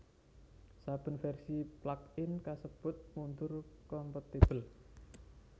Saben vèrsi plugin kasebut mundur kompatibel